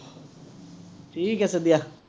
ঠিক আছে দিয়া।